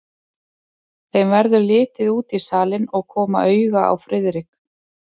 Þeim verður litið út í salinn og koma auga á Friðrik.